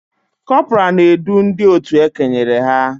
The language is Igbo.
Kọpọraa na-edu ndị otu e kenyere ha